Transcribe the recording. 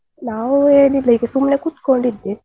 ನಾವು ಏನ್ ಇಲ್ಲ ಸುಮ್ನೆ ಕೂತ್ಕೊಂಡ್ ಇದ್ದೆ.